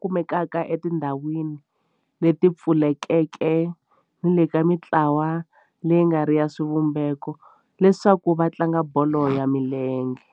kumekaka etindhawini leti pfulekeke ni le ka mintlawa leyi nga riki ya xivumbeko leswaku va tlanga bolo ya milenge.